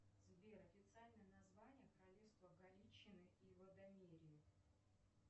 сбер официальное название королевство галиции и лодомерии